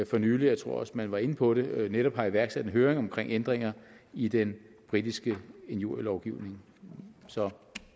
for nylig jeg tror også man var inde på det netop har iværksat en høring omkring ændringer i den britiske injurielovgivning så